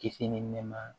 Kisi ni nɛɛma